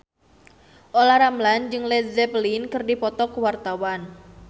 Olla Ramlan jeung Led Zeppelin keur dipoto ku wartawan